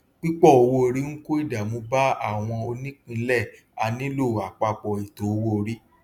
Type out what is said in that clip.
pípò owóorí ń kó ìdààmú bá àwọn ònípínlẹ a nílò àpapọ ètò owóorí